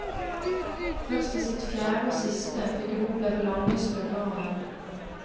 Først i sitt fjerde og siste, fikk hun oppleve lange stunder av den.